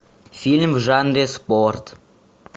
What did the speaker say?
фильм в жанре спорт